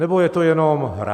Nebo je to jenom hra?